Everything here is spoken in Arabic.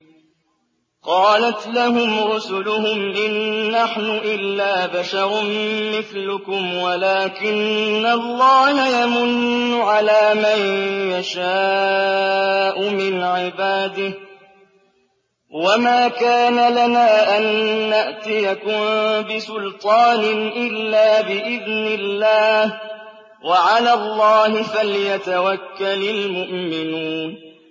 قَالَتْ لَهُمْ رُسُلُهُمْ إِن نَّحْنُ إِلَّا بَشَرٌ مِّثْلُكُمْ وَلَٰكِنَّ اللَّهَ يَمُنُّ عَلَىٰ مَن يَشَاءُ مِنْ عِبَادِهِ ۖ وَمَا كَانَ لَنَا أَن نَّأْتِيَكُم بِسُلْطَانٍ إِلَّا بِإِذْنِ اللَّهِ ۚ وَعَلَى اللَّهِ فَلْيَتَوَكَّلِ الْمُؤْمِنُونَ